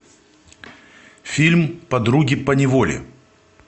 фильм подруги поневоле